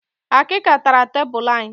Akịka tara tebulu anyị